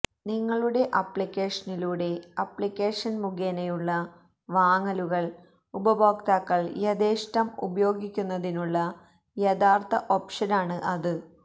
നിങ്ങളുടെ അപ്ലിക്കേഷനിലൂടെ അപ്ലിക്കേഷൻ മുഖേനയുള്ള വാങ്ങലുകൾ ഉപയോക്താക്കൾ യഥേഷ്ടം ഉപയോഗിക്കുന്നതിനുള്ള യഥാർഥ ഓപ്ഷനാണ് അത്